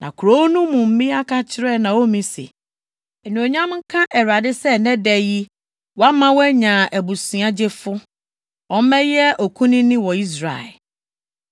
Na kurow no mu mmea ka kyerɛɛ Naomi se, “Anuonyam nka Awurade sɛ nnɛ da yi, wama woanya abusua gyefo! Ɔmmɛyɛ okunini wɔ Israel.